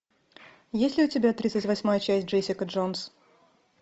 есть ли у тебя тридцать восьмая часть джессика джонс